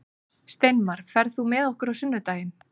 Steinmar, ferð þú með okkur á sunnudaginn?